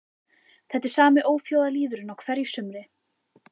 Þetta er sami óþjóðalýðurinn á hverju sumri